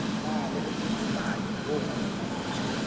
na le bopaki bo ngotsweng